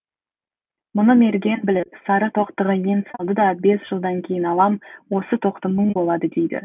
мұны мерген біліп сары тоқтыға ен салды да бес жылдан кейін алам осы тоқты мың болады дейді